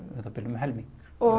um það bil um helming